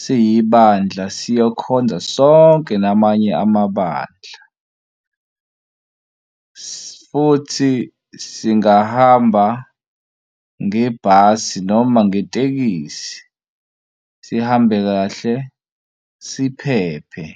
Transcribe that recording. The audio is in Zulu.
siyibandla siyokhonza sonke namanye amabandla. Futhi singahamba ngebhasi noma ngetekisi, sihambe kahle, siphephe.